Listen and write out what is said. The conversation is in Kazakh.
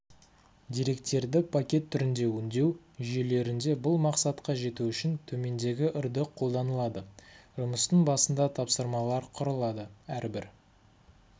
деректерді пакет түрінде өңдеу жүйелерінде бұл мақсатқа жету үшін төмендегі үрді қолданылады жұмыстың басында тапсырмалар құрылады әрбір